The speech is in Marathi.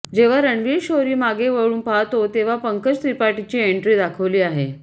जेव्हा रणवीर शोरी मागे वळून पाहतो तेव्हा पंकज त्रिपाठीची एण्ट्री दाखवली आहे